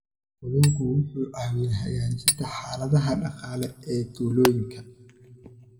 Kalluunku wuxuu caawiyaa hagaajinta xaaladaha dhaqaale ee tuulooyinka.